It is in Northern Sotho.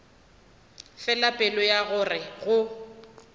fela pelo ya gore go